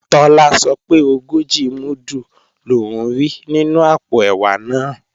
Tọ́lá sọ pé ogójì múdù lòún rí nínú àpò ẹ̀wà náà